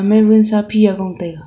ama vunsa phiya gong taiga.